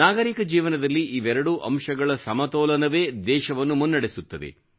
ನಾಗರಿಕ ಜೀವನದಲ್ಲಿ ಇವೆರಡೂ ಅಂಶಗಳ ಸಮತೋಲನವೇ ದೇಶವನ್ನು ಮುನ್ನಡೆಸುತ್ತದೆ